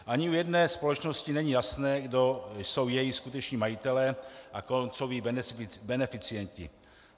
Ani u jedné společnosti není jasné, kdo jsou její skuteční majitelé a kdo jsou její beneficienti.